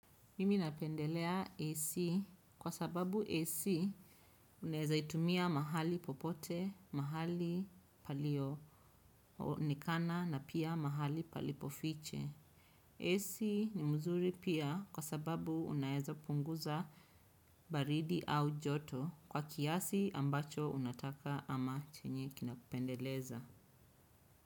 Mimi napendelea AC kwa sababu AC unaeza itumia mahali popote, mahali palio, onekana na pia mahali palipo fiche. AC ni mzuri pia kwa sababu unaeza punguza baridi au joto kwa kiasi ambacho unataka ama chenye kinakupendeleza.